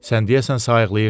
Sən deyəsən sayıqlayırsan.